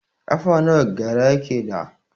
Ƙafa nawa gyare yake da?